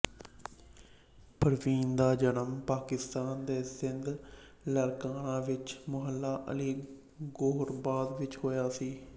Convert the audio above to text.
ਪਰਵੀਨ ਦਾ ਜਨਮ ਪਾਕਿਸਤਾਨ ਦੇ ਸਿੰਧ ਲਾਰਕਾਨਾ ਵਿੱਚ ਮੁਹੱਲਾ ਅਲੀ ਗੋਹਰਾਬਾਦ ਵਿੱਚ ਹੋਇਆ ਸੀ